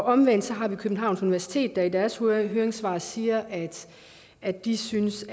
omvendt har vi københavns universitet der i deres høringssvar siger at de synes